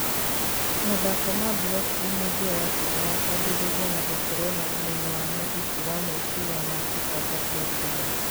Mathako ma Blockly nĩ njĩra njega ya kwambĩrĩria na gũkorwo na ũmenyo wa mũthingi wa meciria ma kũbanga programu